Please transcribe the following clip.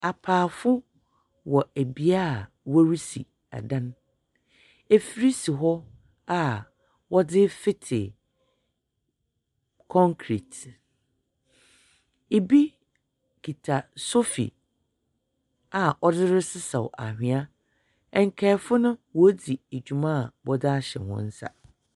Apaafo wɔ bea a worisi dan, efir si hɔ a wɔdze refetsew concrete, bi kita sɔfi a ɔdze resesaw anhwea, nkaafo no, woridzi dwuma a wɔdze ahyɛ hɔn nsa.